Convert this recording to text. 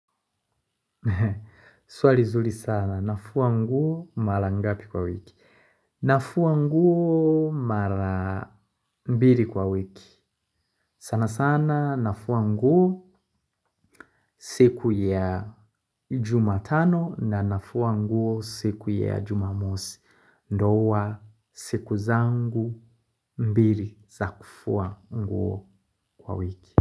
Swali zuli sana. Nafua nguo mara ngapi kwa wiki. Nafua nguo mara mbili kwa wiki. Sana sana nafua nguo siku ya jumatano na nafua nguo siku ya jumamosi. Ndo huwa siku zangu mbili za kufua nguo kwa wiki.